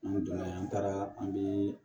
N'an donna an taara an bi